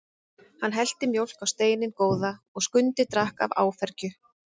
Hann hellti mjólk á steininn góða og Skundi drakk af áfergju.